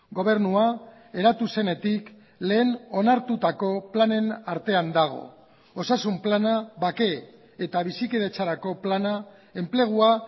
gobernua eratu zenetik lehen onartutako planen artean dago osasun plana bake eta bizikidetzarako plana enplegua